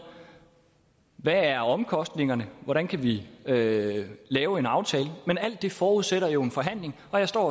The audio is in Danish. hvad er omkostningerne hvordan kan vi lave lave en aftale men alt det forudsætter jo en forhandling og jeg står